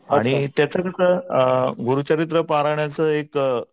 आणि त्याचं कसं गुरुचरित्र परायणाचं एक